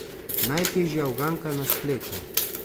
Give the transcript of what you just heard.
Najtežja uganka na spletu.